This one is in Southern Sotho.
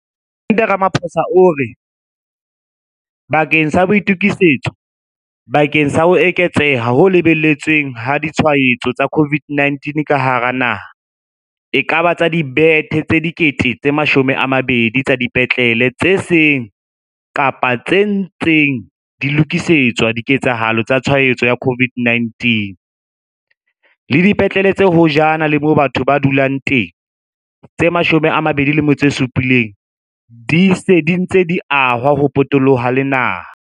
Mopresidente Ramaphosa o re, bakeng sa boitokisetso bakeng sa ho eketseha ho lebeletsweng ha ditshwaetso tsa COVID-19 ka hara naha, ekaba tsa dibethe tse 20 000 tsa dipetlele tse seng kapa tse ntseng di lokisetswa diketsahalo tsa tshwaetso ya COVID-19, le dipetlele tse hojana le moo batho ba du-lang teng tse 27 di se dintse di ahwa ho potoloha naha.